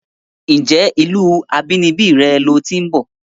Ǹjé ìlúu abínibí re lo ti ń bò?